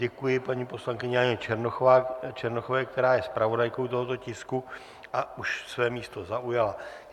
Děkuji paní poslankyni Janě Černochové, která je zpravodajkou tohoto tisku a už své místo zaujala.